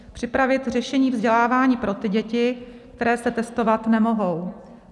Připravit řešení vzdělávání pro ty děti, které se testovat nemohou.